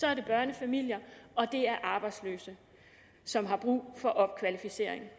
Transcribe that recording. er det børnefamilier og det er arbejdsløse som har brug for opkvalificering